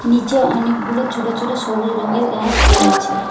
নিচে অনেকগুলো ছোট ছোট সবুজ রঙের গাছ রয়েছে।